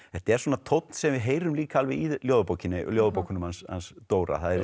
þetta er tónn sem við heyrum líka alveg í ljóðabókinni ljóðabókinni ljóðabókunum hans Dóra það er